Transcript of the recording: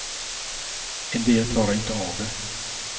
En del klarar inte av det.